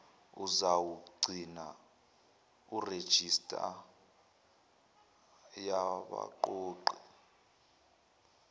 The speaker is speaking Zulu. uzawugcina irejista yabaqoqi